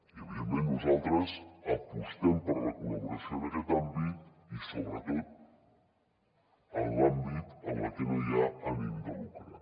i evidentment nosaltres apostem per la col·laboració en aquest àmbit i sobretot en l’àmbit en el que no hi ha ànim de lucre